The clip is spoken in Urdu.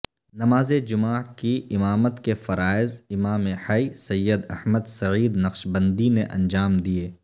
نماز جمعہ کی امامت کے فرائض امام حی سید احمد سعید نقشبندی نے انجام دیے